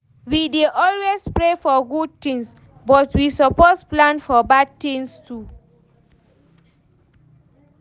We dey always pray for good tins, but we suppose plan for bad tins too.